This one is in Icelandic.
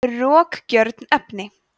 rokgjörn efni